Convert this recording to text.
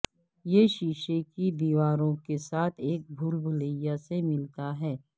یہ شیشے کی دیواروں کے ساتھ ایک بھولبلییا سے ملتا ہے